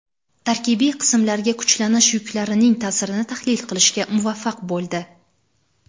tarkibiy qismlarga kuchlanish yuklarining ta’sirini tahlil qilishga muvaffaq bo‘ldi.